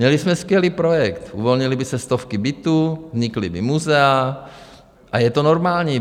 Měli jsme skvělý projekt, uvolnily by se stovky bytů, vznikla by muzea a je to normální.